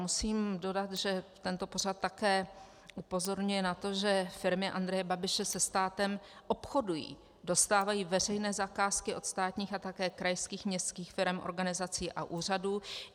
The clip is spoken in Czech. Musím dodat, že tento pořad také upozorňuje na to, že firmy Andreje Babiše se státem obchodují, dostávají veřejné zakázky od státních a také krajských, městských firem, organizací a úřadů.